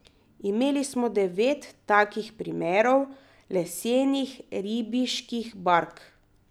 Imeli smo devet takih primerov lesenih ribiških bark.